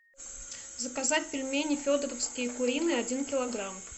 заказать пельмени федоровские куриные один килограмм